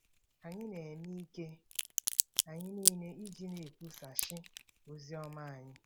Anyị na-eme ike anyị niile iji na-ekwusachi ozi ọma anya.